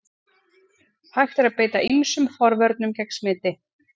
Hægt er að beita ýmsum forvörnum gegn smiti.